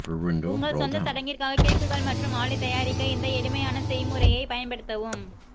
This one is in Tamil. உங்கள் சொந்த சடங்கிற்காக கேக்குகள் மற்றும் ஆலே தயாரிக்க இந்த எளிமையான செய்முறையைப் பயன்படுத்தவும்